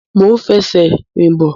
Mo ń fẹ́ ṣe rìn bọ̀